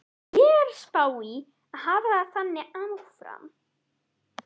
Ég er að spá í að hafa það þannig áfram.